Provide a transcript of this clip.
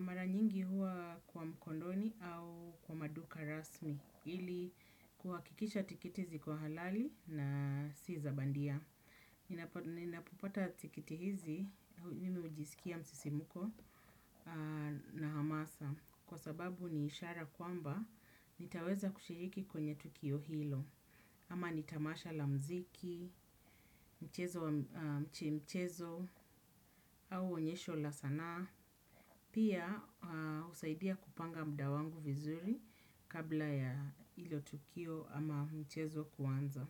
mara nyingi huwa kwa mkondoni au kwa maduka rasmi ili kuakikisha tikiti ziko halali na si za bandia. Ninapopata tikiti hizi mimi hujisikia msisimuko na hamasa kwa sababu ni ishara kwamba nitaweza kushiriki kwenye tukio hilo. Ama nitamasha la mziki, mchezo wa mchezo, au onyesho la sanaa. Pia husaidia kupanga muda wangu vizuri kabla ya ilo tukio ama mchezo kuanza.